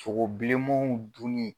Sogobilemanw dunni